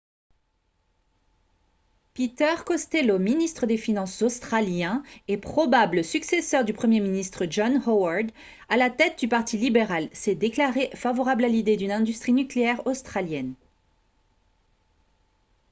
peter costello ministre des finances australien et probable successeur du premier ministre john howard à la tête du parti libéral s'est déclaré favorable à l'idée d'une industrie nucléaire australienne